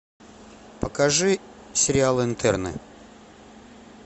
покажи сериал интерны